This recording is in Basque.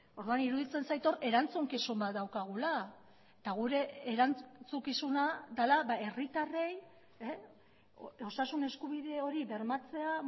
orduan iruditzen zait hor erantzukizun bat daukagula eta gure erantzukizuna dela herritarrei osasun eskubide hori bermatzea